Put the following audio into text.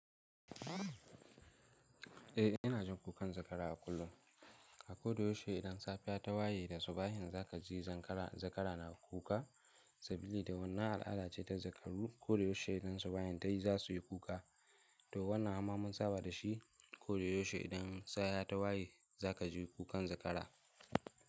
Eh ina jin kukan zakara a kullum. Ko da yaushe idan safiya ta waye da subahin za ka ji zakara na kuka saboda wannan al'ada ce ta zakaru. Ko da yaushe idan subahin ta yi za su yi kuka. To wannan amma mun saba da shi. Ko da yaushe idan safiya ta waye za ka ji kukan zakara.